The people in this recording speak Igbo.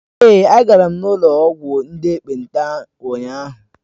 Èé, agara m n'ụlọ ọgwụ ndị ekpenta ụnyahụ.